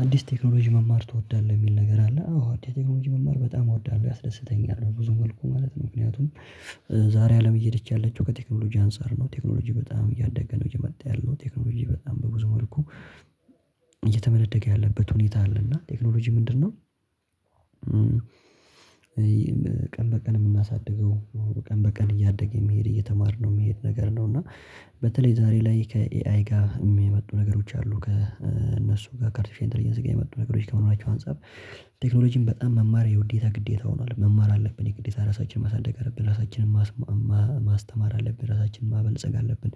አንዲስ ቴክኖሎጂ መማር ትወዳለህ የሚል ነገር አለ አዎ አንዲስ ቴክኖሎጂ መማር በጣም እወዳለሁ ያስደስተኛል በብዙ መልኩ ማለት ነው። ምክንያቱም ዛሬ አለም እየሄደች ያለችው ከቴክኖሎጂ አንፃር ነው ቴክኖሎጂ በጣም እያደገ ነው የመጣ ያለው ቴክኖሎጂ በጣም በብዙ መልኩ እየተመነደገ ያለበት ሁኔታ አለ። እና ቴክኖሎጂ ምንድነው? ቀን በቀን የምናሳድገው ቀን በቀን እያደገ የሚሄድ እየተማርነው የሚሄድ ነገር ነው። እና በተለይ ዛሬ ላይ ከኤአይ ጋር የሚመጡ ነገሮች አሉ ከእነሱ ጋር ከአርቲፊሻል ኢንተለጀንስ ጋር የመጡ ነገሮች ከመኖራቸው አንፃር። ቴክኖሎጂን በጣም መማር የውዴታ ግዴታ ሆኗል መማር አለብን የግዴታ ራሳችንን ማሳደግ አለብን ራሳችንን ማስማማ ማስተማር አለብን ራሳችንን ማበልጸግ አለብን።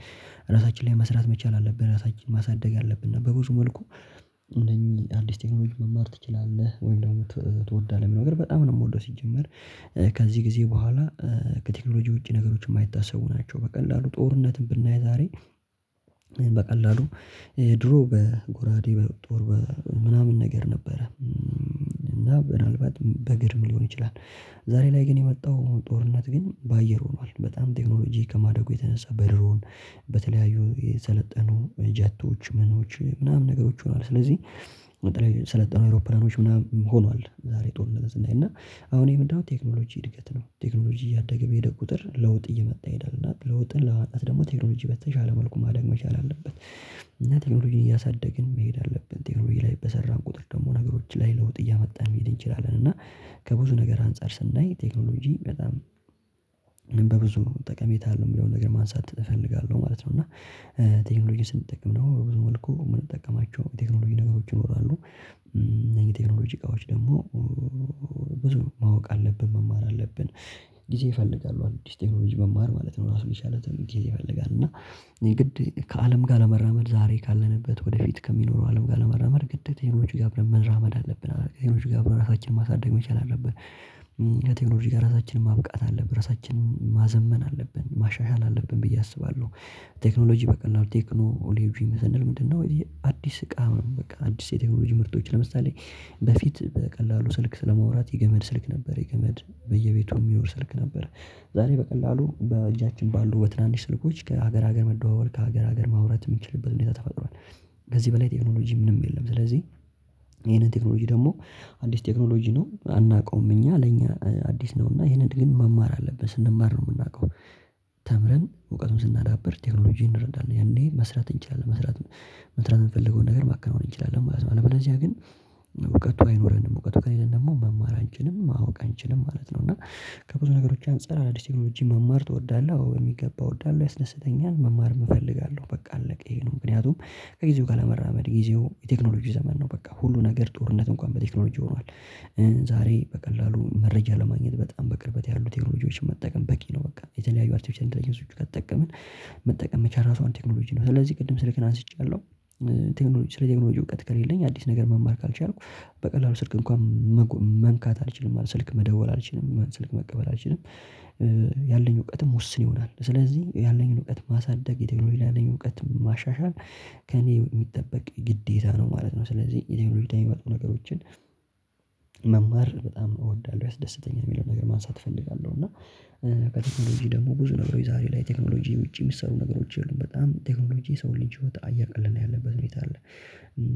ራሳችን ላይ መስራት መቻል አለብን ራሳችንን ማሳደግ አለብን በብዙ መልኩ። እነኚህ አዲስ ቴክኖሎጂ መማር ትችላለህ ወይም ደግሞ ትወዳለህ ምናምን ነገር በጣም ነው የምወደው ሲጀመር። ከዚህ ጊዜ በኋላ ከቴክኖሎጂ ውጪ ነገሮች የማይታሰቡ ናቸው በቀላሉ ጦርነትን ብናይ ዛሬ። በቀላሉ ድሮ በጎራዴ በጦር ምናምን ነገር ነበረ እና ምናልባት በግርም ሊሆን ይችላል። ዛሬ ላይ ግን የመጣው ጦርነት ግን በአየር ሆኗል በጣም ቴክኖሎጂ ከማደጉ የተነሳ በድሮን በተለያዩ የሰለጠኑ ጀቶች ምኖች ምናምን ነገሮች ሆነዋል። ስለዚህ ዛሬ ላይ በሰለጠኑ አውሮፕላኖች ምናምን ሆኗል። ዛሬ ጦርነትን ስናይ እና አሁን ይሄ ምንድነው ቴክኖሎጂ እድገት ነው። ቴክኖሎጂ እያደገ በሄደ ቁጥር ለውጥ እየመጣ ይሄዳል እና ለውጥን ለማምጣት ደግሞ ቴክኖሎጂ በተሻለ መልኩ ማደግ መቻል አለበት። እና ቴክኖሎጂን እያሳደግን መሄድ አለብን ቴክኖሎጂ ላይ በሰራን ቁጥር ደግሞ ነገሮች ላይ ለውጥ እያመጣን መሄድ እንችላለን። እና ከብዙ ነገር አንፃር ስናይ ቴክኖሎጂ በጣም በብዙ ጠቀሜታ አለው የሚለውን ነገር ማንሳት እፈልጋለሁ ማለት ነው። እና ቴክኖሎጂን ስንጠቀም ደግሞ ብዙ መልኩ የምንጠቀማቸው ቴክኖሎጂ ነገሮች ይኖራሉ። እነዚህ ቴክኖሎጂ እቃዎች ደግሞ ብዙ ማወቅ አለብን መማር አለብን። ጊዜ ይፈልጋሉ አዲስ ቴክኖሎጂ መማር ማለት ነው ራሱን ትምህርት ይፈልጋል። እና የግድ ከአለም ጋር ለመራመድ ዛሬ ካለንበት ወደፊት ከሚኖረው አለም ጋር ለመራመድ ግዴታ ቴክኖሎጂ ጋር አብረን መራመድ አለብን ቴክኖሎጂ ጋር ራሳችንን ማሳደግ መቻል አለብን። ቴክኖሎጂ ጋር ራሳችንን ማብቃት አለብን ራሳችንን ማዘመን አለብን ማሻሻል አለብን ብዬ አስባለሁ። ቴክኖሎጂ በቀላሉ ቴክኖ ኦሌጂ ምንድነው? የአዲስ እቃ አዲስ የቴክኖሎጂ ምርቶች ለምሳሌ በፊት በቀላሉ ስልክ ስለማውራት የገመድ ስልክ ነበር የገመድ በየቤቱ የሚኖር ስልክ ነበር። ዛሬ በቀላሉ በእጃችን ባሉ በትናንሽ ስልኮች ከሀገር ሀገር መደዋወል ከሀገር ሀገር ማውራት የምንችልበት ሁኔታ ተፈጥሯል። ከዚህ በላይ ቴክኖሎጂ ምንም የለም። ስለዚህ ይሄንን ቴክኖሎጂ ደግሞ አንዲስ ቴክኖሎጂ ነው አናውቀውም እኛ ለእኛ አዲስ ነው እና ይሄንን ግን መማር አለበን ስንማር ነው የምናውቀው። ተምረን እውቀቱን ስናዳብር ቴክኖሎጂን እንረዳን ያኔ መስራት እንችላለን መስራት መትራት የምንፈልገውን ነገር ማከናወን እንችላለን ማለት ነው። አለበለዚያ ግን እውቀቱ አይኖረንም እውቀቱ ከሌለን ደግሞ መማር አንችልም ማወቅ አንችልም ማለት ነው። እና ከብዙ ነገሮች አንፃር አዳዲስ ቴክኖሎጂ መማር ትወዳለህ? አዎ የሚገባ እወዳለሁ ያስደስተኛል መማርም እፈልጋለሁ በቃ አለቀ ይሄ ነው። ምክንያቱም ከጊዜው ጋር ለመራመድ ጊዜው የቴክኖሎጂ ዘመን ነው በቃ ሁሉ ነገር ጦርነት እንኳን በቴክኖሎጂ ሆኗል። ዛሬ በቀላሉ መረጃ ለማግኘት በጣም በቅርበት ያሉት ቴክኖሎጂዎችን መጠቀም በቂ ነው። በቃ የተለያዩ አርተፊሻል ኢንተለጀንሶች ከተጠቀመን መጠቀም መቻል ራሷን ቴክኖሎጂ ነው ስለዚህ ቅድም ስልክን አንስቻለሁ። ቴክኖሎጂ ስለ ቴክኖሎጂ እውቀት ከሌለኝ አዲስ ነገር መማር ካልቻልኩ በቀላሉ ስልክ እንኳን መንካት አልችልም ማለት ስልክ መደወል አልችልም ስልክ መቀበል አልችልም። ያለኝ እውቀትም ወስን ይሆናል ስለዚህ ያለኝን እውቀት ማሳደግ የቴክኖሎጂ ያለኝ እውቀት ማሻሻል ከእኔ የሚጠበቅ ግዴታ ነው ማለት ነው። ስለዚህ የቴክኖሎጂ የሚወጡ ነገሮችን መማር በጣም እወዳለሁ ያስደስተኛል የሚለውን ነገር ማንሳት እፈልጋለሁ። እና በቴክኖሎጂ ደግሞ ብዙ ነገሮች ዛሬ ላይ ቴክኖሎጂ ውጪ የሚሰሩ ነገሮች የሉም በጣም ቴክኖሎጂ የሰውን ልጅ ህይወት እያቀለለበት ሁኔታ አለ።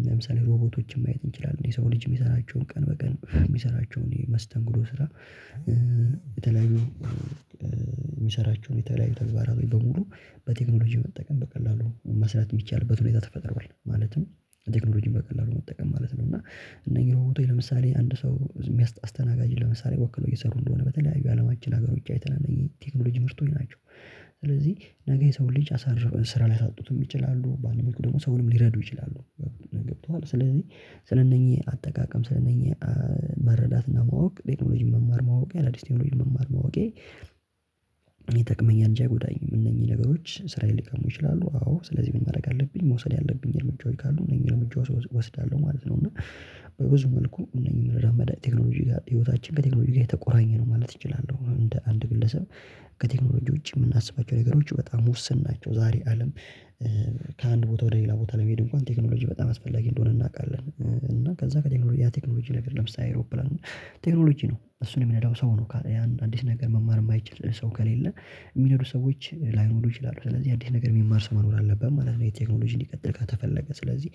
ለምሳሌ ሮቦቶችን ማየት እንችላለን የሰው ልጅ የሚሰራቸውን ቀን በቀን የሚሰራቸውን የመስተንግዶ ስራ። የተለያዩ የሚሰራቸውን የተለያዩ ተግባራዊ በሙሉ በቴክኖሎጂ መጠቀም በቀላሉ መስራት የሚቻልበት ሁኔታ ተፈጥሮ ማለትም ቴክኖሎጂን በቀላሉ መጠቀም ማለት ነው። እና እነኚህ ሮቦቶች ለምሳሌ አንድ ሰው የሚያስተናጋጅ ለምሳሌ ወክለው እየሰሩ እንደሆነ በተለያዩ አለማችን ሀገር ውጪ አይተናል እነዚህ ቴክኖሎጂ ምርቶኝ ናቸው። ስለዚህ ነገ የሰው ልጅ አሳርፈን ስራ ሊያሳጡትም ይችላሉ ባነሩን ደግሞ ሰውንም ሊረዱ ይችላሉ። ገብቶሃል ስለዚህ ስነኚህ አጠቃቀም ስነኚህ መረዳትና ማወቅ ቴክኖሎጂ መማር ማወቅ አዳዲስ ቴክኖሎጂ መማር ማወቄ። ይጠቅመኛል አንጂ አይጎዳኝም። እነኚህ ነገሮች ስራ ሊቀሙ ይችላሉ አዎ ስለዚህ ምን ማድረግ አለብኝ መውሰድ ያለብኝ እርምጃዎች ካሉ እነኚህ እርምጃዎች እወስዳለሁ ማለት ነው። እና በብዙ መልኩ እነኚህን ረመድ ቴክኖሎጂ ጋር ህይወታችን ከቴክኖሎጂ ጋር ተቆራኘ ነው ማለት እንችላለን እንደ አንድ ግለሰብ። ከቴክኖሎጂ ውጪ የምናስባቸው ነገሮች በጣም ውስን ናቸው። ዛሬ አለም ከአንድ ቦታ ወደ ሌላ ቦታ ላይ መሄድ እንኳን ቴክኖሎጂ በጣም አስፈላጊ እንደሆነ እናውቃለን። እና ከዛ ከቴክኖሎጂ ያ ቴክኖሎጂ ነገር ለምሳሌ አይሮፕላን ቴክኖሎጂ ነው እሱን የሚነዳው ሰው ነው። ያን አዲስ ነገር መማር የማይችል ሰው ከሌለ የሚነዱ ሰዎች ላይኖሩ ይችላሉ። ስለዚህ አዲስ ነገር የሚማር ሰው መኖር አለበት ማለት ነው። የቴክኖሎጂ እንዲቀጥል ካተፈለገ ስለዚህ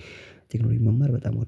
ቴክኖሎጂ መማር በጣም ወዳለሁ